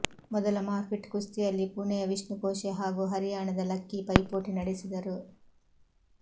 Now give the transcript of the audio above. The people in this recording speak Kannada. ಮೊದಲ ಮಾರ್ಫಿಟ್ ಕುಸ್ತಿಯಲ್ಲಿ ಪುಣೆಯ ವಿಷ್ಣುಕೋಶೆ ಹಾಗೂ ಹರಿಯಾಣದ ಲಕ್ಕಿ ಪೈಪೋಟಿ ನಡೆಸಿದರು